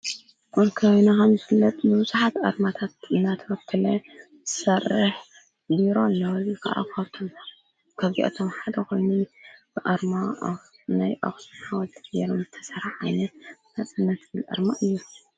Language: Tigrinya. አብ ከባቢና ከምዝፍለጥ ንቡዙሓት አርማታት እናተከተለ ዝሰርሕ ቢሮ አሎ፡፡ እዚ ካዓ ካብቶም ካብዚአቶም ሓደ ኮ ኾይኑ ብአርማ ብናይ አክሱም ሓወልቲ ገይሮም ተሰርሐ ዓይነት ናፅነት አርማ እዩ፡፡